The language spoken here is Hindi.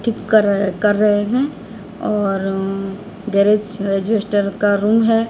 ठीक कर कर रहें हैं और अह गैरेज का रूम है।